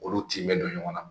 Olu tin bɛ don ɲɔgɔn na